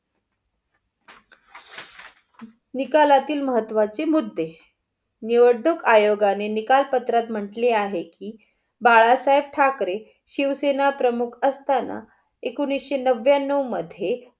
निकालातील महत्वाचे मुद्दे. निवडणूक आयोगाने निकाल पत्रात म्हंटले आहे कि बाळासाहेब ठाकरे शिवसेना प्रमुख असताना एकोणीशे नव्यानो मध्ये